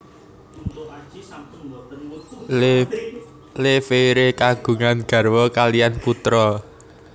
Le Verrier kagungan garwa kaliyan putra